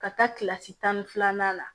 Ka taa kilasi tan ni filanan na